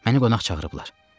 Məni qonaq çağırıblar.